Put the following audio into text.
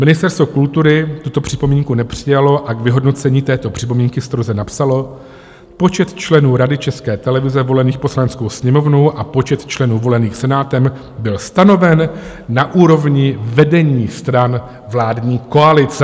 Ministerstvo kultury tuto připomínku nepřijalo a k vyhodnocení této připomínky stroze napsalo: "Počet členů Rady České televize volených Poslaneckou sněmovnou a počet členů volených Senátem byl stanoven na úrovni vedení stran vládní koalice."